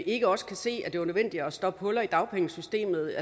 ikke også kan se at det var nødvendigt at stoppe huller i dagpengesystemet